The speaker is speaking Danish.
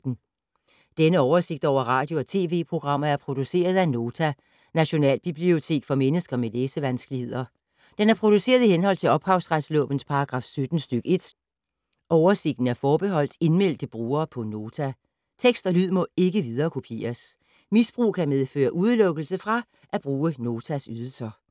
Denne oversigt over radio og TV-programmer er produceret af Nota, Nationalbibliotek for mennesker med læsevanskeligheder. Den er produceret i henhold til ophavsretslovens paragraf 17 stk. 1. Oversigten er forbeholdt indmeldte brugere på Nota. Tekst og lyd må ikke viderekopieres. Misbrug kan medføre udelukkelse fra at bruge Notas ydelser.